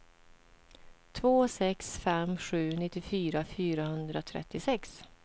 två sex fem sju nittiofyra fyrahundratrettiosex